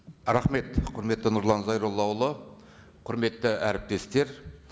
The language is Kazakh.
рахмет құрметті нұрлан зайроллаұлы құрметті әріптестер